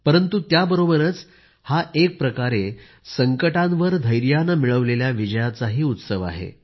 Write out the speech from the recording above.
परंतु त्याबरोबरच हा एक प्रकारे संकटांवर धैर्यानं मिळवलेल्या विजयाचाही उत्सवही आहे